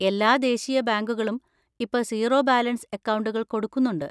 എല്ലാ ദേശീയ ബാങ്കുകളും ഇപ്പൊ സീറോ ബാലൻസ് അക്കൗണ്ടുകൾ കൊടുക്കുന്നുണ്ട്.